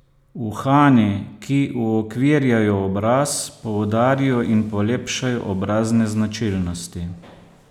Uhani, ki uokvirjajo obraz, poudarijo in polepšajo obrazne značilnosti.